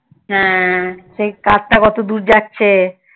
হ্যা সেই কারটা কতদূর যাচ্ছে